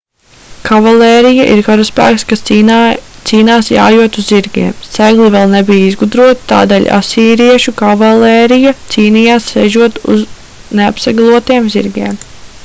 kavalērija ir karaspēks kas cīnās jājot uz zirgiem segli vēl nebija izgudroti tādēļ asīriešu kavalērija cīnījās sēžot uz neapseglotiem zirgiem